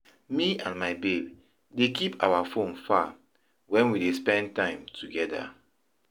Me and my babe dey keep our fone far wen we dey spend time togeda.